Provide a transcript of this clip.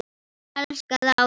Mín elskaða Ásdís.